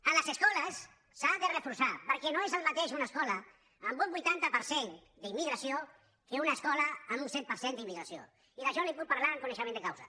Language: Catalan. en les escoles s’ha de reforçar perquè no és el mateix una escola amb un vuitanta per cent d’immigració que una escola amb un set per cent d’immigració i d’això li’n puc parlar amb conei·xement de causa